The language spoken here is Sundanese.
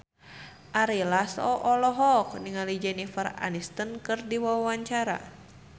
Ari Lasso olohok ningali Jennifer Aniston keur diwawancara